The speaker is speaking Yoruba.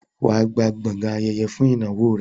wà á gba gbọgán ayẹyẹ fún ìnáwó rẹ.